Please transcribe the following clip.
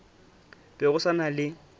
be go sa na le